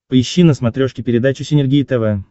поищи на смотрешке передачу синергия тв